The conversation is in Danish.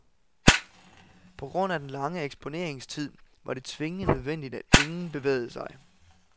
På grund af den lange eksponeringstid var det tvingende nødvendigt at ingen bevægede sig.